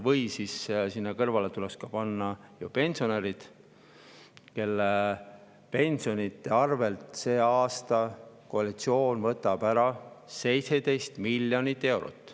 Või siis tuleks panna sinna kõrvale pensionärid, kelle pensionidest võtab koalitsioon see aasta ära 17 miljonit eurot.